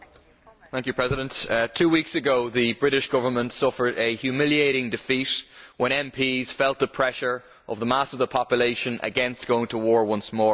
Mr President, two weeks ago the British Government suffered a humiliating defeat when MPs felt the pressure of the mass of the population against going to war once more.